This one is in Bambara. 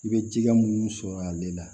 I bɛ ji minnu sɔrɔ ale la